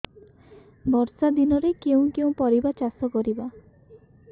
ବର୍ଷା ଦିନରେ କେଉଁ କେଉଁ ପରିବା ଚାଷ କରିବା